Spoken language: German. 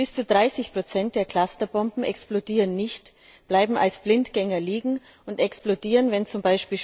Bis zu 30 der Clusterbomben explodieren nicht, bleiben als Blindgänger liegen und explodieren, wenn z.